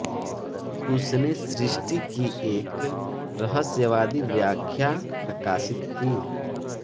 उसने सृष्टि की एक रहस्यवादी व्याख्या प्रकाशित की